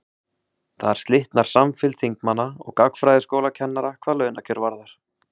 þar slitnar samfylgd þingmanna og gagnfræðaskólakennara hvað launakjör varðar